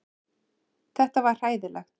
Þetta var hræðilegt.